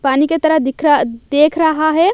पानी की तरह दिख रहा देख रहा है।